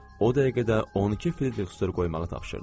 O dəqiqə də 12 Fritzdor qoymağı tapşırdı.